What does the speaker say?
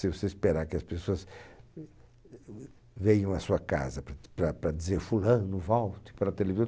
Se você esperar que as pessoas venham à sua casa para t para para dizer fulano, volte para a